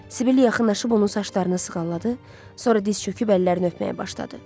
Sibil yaxınlaşıb onun saçlarını sığalladı, sonra diz çöküb əllərini öpməyə başladı.